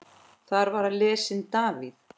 Þar var lesinn David